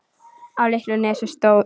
Á litlu nesi stóð